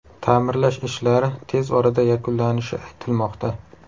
Ta’mirlash ishlari tez orada yakunlanishi aytilmoqda.